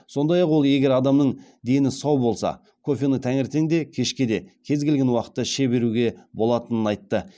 сондай ақ ол егер адамның дені сау болса кофені таңертең де кешке де кез келген уақытта іше беруге болатынын айтты